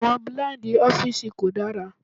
Àwọn blíǹdì ọ́fíìsì kò dára.